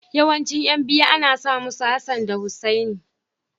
Yawancin ƴan biyu ana sa musu Hassan da Hussaini.